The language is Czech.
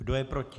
Kdo je proti?